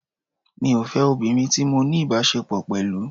Mi ò fẹ́ obìnrin tí mo ní ìbáṣepọ̀ pẹ̀lú.